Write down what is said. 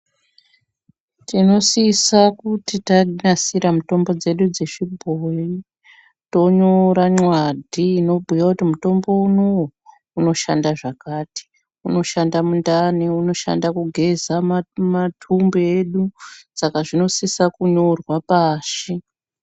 Tinosisa kuti tanasira mitombo dzedu dzechibhoyi tonyora nxwadhi inobhuya kuti mutombo unouyu unoshanda zvakati, unoshanda mundani, unoshanda kugeza matumbu edu, saka zvinosisa kunyorwa pashi.